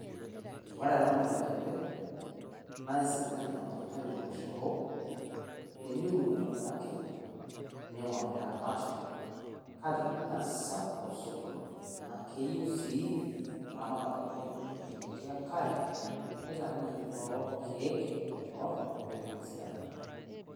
Ore ena naa oleikembe naa keisidai amu kitayu oloshoro teniun aitibiraki niing'or niramat. Kake Mme sapuk osokoni naa keyieu sii eramatare oleng ewueji netii enkare nitaaniki too ilkiek aing'or pee etuma atisidana.